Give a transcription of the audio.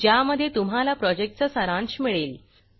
ज्यामध्ये तुम्हाला प्रॉजेक्टचा सारांश मिळेल